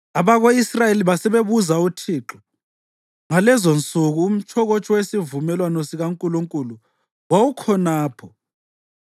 Abako-Israyeli basebebuza uThixo. (Ngalezonsuku umtshokotsho wesivumelwano sikaNkulunkulu wawukhonapho,